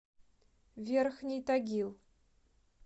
верхний тагил